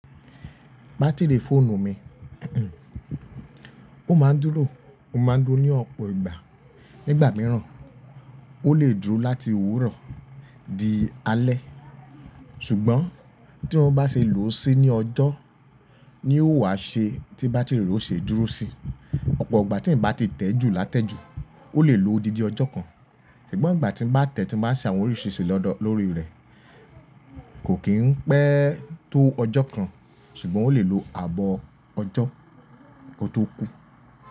Batiri fóònù mi, ó ma dúrò, ó ma dúró ní ọ̀pọ̀ ìgbà. Nígbà mìíràn, ó lè dúró láti òwúrọ̀ di alẹ́ ṣùgbọ́n tí wọ́n bá ṣe lòó sí ní ọjọ́ ni ó wà ṣe tí batiri re ò ṣe dúró sí. Ọ̀pọ̀ ìgbà tí ń bá ti tẹ́ jù látẹ́jù ó lè lo didi ọjọ́ kan ṣùgbọ́n ìgbà tí ń bá tẹ́tí máa ṣe àwọn oríṣìíríṣìí lọ́dọ̀ lórí rẹ̀ kò kí n pẹ́ tó ọjọ́ kan ṣùgbọ́n ó lè lo ààbọ̀ ọjọ́ kó tó kú.